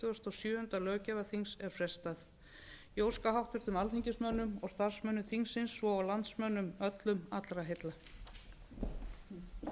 þrítugasta og sjöunda löggjafarþings er frestað ég óska háttvirtum alþingismönnum og starfsmönnum þingsins svo og landsmönnum öllum allra heilla